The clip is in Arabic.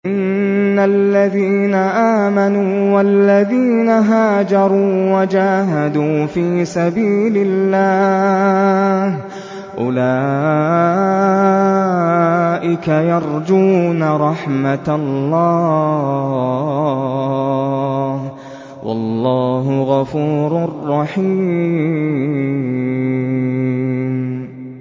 إِنَّ الَّذِينَ آمَنُوا وَالَّذِينَ هَاجَرُوا وَجَاهَدُوا فِي سَبِيلِ اللَّهِ أُولَٰئِكَ يَرْجُونَ رَحْمَتَ اللَّهِ ۚ وَاللَّهُ غَفُورٌ رَّحِيمٌ